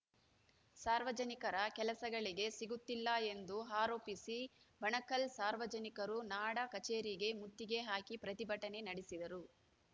ಸಾರ್ವಜನಿಕರ ಕೆಲಸಗಳಿಗೆ ಸಿಗುತ್ತಿಲ್ಲ ಎಂದು ಆರೋಪಿಸಿ ಬಣಕಲ್‌ ಸಾರ್ವಜನಿಕರು ನಾಡ ಕಚೇರಿಗೆ ಮುತ್ತಿಗೆ ಹಾಕಿ ಪ್ರತಿಭಟನೆ ನಡೆಸಿದರು